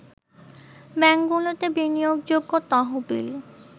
ব্যাংকগুলোতে বিনিয়োগযোগ্য তহবিল